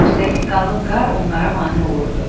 Üstəlik qalın qar onlara mane olurdu.